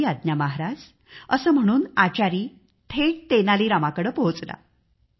ठीक आहे महाराजअसे म्हणून आचारी थेट तेनालीरामाकडे पोहोचला